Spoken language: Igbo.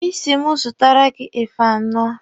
Ị sị m zụtara gị efe anọ.